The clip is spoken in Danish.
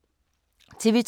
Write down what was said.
TV 2